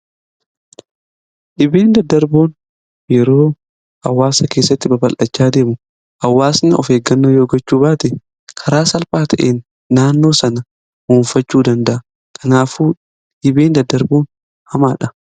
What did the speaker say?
Dhibee daddarboon yeroo hawaasa keessatti babal'achaa adeemu hawaasni of eeggannoo yoo gochuu baate karaa salphaa ta'een naannoo dhuunfachuu danda'a kanaafuu dhibee daddarboon baay'ee hamaadha.